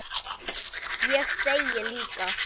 Ég þegi líka.